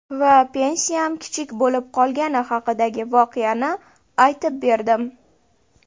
Va pensiyam kichik bo‘lib qolgani haqidagi voqeani aytib berdim.